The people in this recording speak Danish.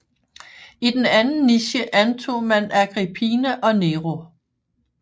I den anden niche antog man Agrippina og Nero